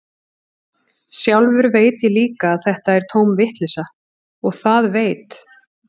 Sjálfur veit ég líka að þetta er tóm vitleysa, og það veit